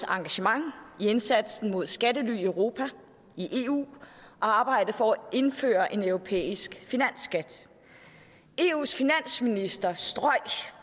engagement i indsatsen mod skattely i europa i eu og arbejdet for at indføre en europæisk finansskat eus finansministre strøg